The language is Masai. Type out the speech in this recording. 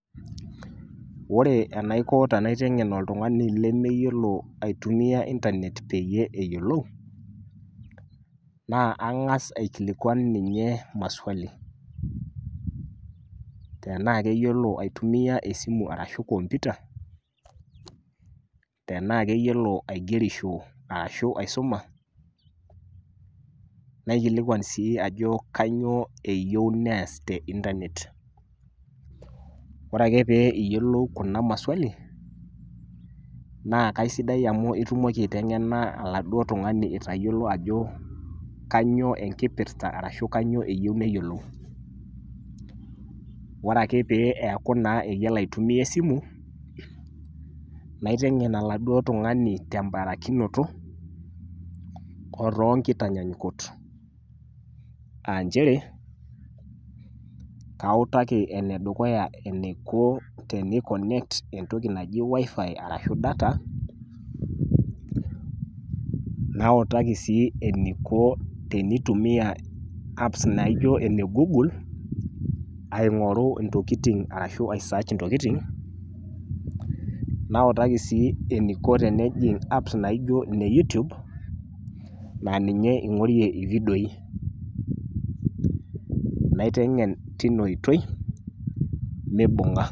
Ore enaiko tenaiteng'en oltung'ani lemeyiolo aitumia intanet peyie eyolou, naa ang'asa aikilikuan ninye maswali tenaake eyiolo aitumia esimu arashu komputa, tenaake eyiolo aigerisho arashu aisuma, naikilikuan sii ajo kanyoo eyeu nees te intanet. Ore ake pee itolou kuna maswali naa kaisidai amu itumoki aiteng'ena oladuo tung'ani itayiolo ajo kanyoo enkipirta arashu kanyoo eyeu neyolou. Ore ake pee eeku naa yiolo aitumia esimu naiteng'en oladuo tung'ani te mbarakinoto oo too nkitanyanyukot aa nchere kautaki ene dukuya eniko teniconnect entoki naji wifi arashu data, nautaki sii eniko tenitumia apps naijo ene goggle aing'oru ntokitin arashu aisearch ntokitin, nautaki sii eniko tenejing' apps naijo ine youtube naa ninye ing'orie vidioi naiteng'en tina oitoi mibung'a.